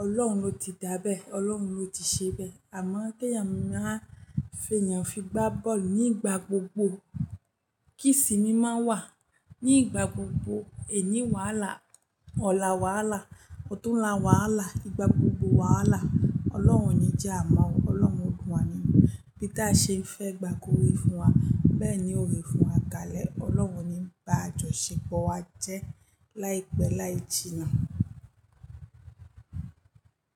Ọlọ́run ló ti dábẹ́, Ọlọ́run ló ti ṣẹbẹ́. Àmọ́ kí èèyàn máa fẹ́ èèyàn fi gbá bọ́ọ̀lù nígbà gbogbo. Kí isinmí máa wà ní igbà gbogbo? Èní wàhálà, ọ̀la wàhálà, ọ̀túnla wàhálà, ìgbà gbogbo wàhálà. Ọlọ́run ni jẹ́ Àmọ́, Ọlọ́run lù wá nínú. Bí tí a ṣe ń fẹ́ gbà kúrò fún wa, bẹ́ẹ̀ ni ó rí fún wa kalẹ̀. Ọlọ́run o ni bá àjọṣepọ̀ wa jẹ́ láìpẹ́ láì jinà.